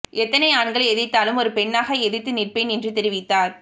எத்தனை ஆண்கள் எதிர்த்தாலும் ஒரு பெண்ணாக எதிர்த்து நிற்பேன் என்று தெரிவித்தார்